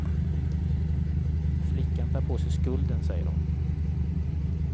Flickan tar på sig skulden, säger hon.